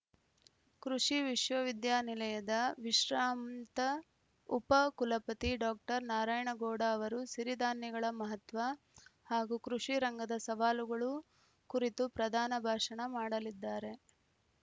ಕೃಷಿ ವಿಶ್ವವಿದ್ಯಾನಿಲಯದ ವಿಶ್ರಾಂತ ಉಪ ಕುಲಪತಿ ಡಾಕ್ಟರ್ ನಾರಾಯಣಗೌಡ ಅವರು ಸಿರಿಧಾನ್ಯಗಳ ಮಹತ್ವ ಹಾಗೂ ಕೃಷಿ ರಂಗದ ಸವಾಲುಗಳು ಕುರಿತು ಪ್ರಧಾನ ಭಾಷಣ ಮಾಡಲಿದ್ದಾರೆ